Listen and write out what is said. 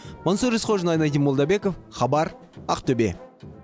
мансұр есқожин айнадин молдабеков хабар ақтөбе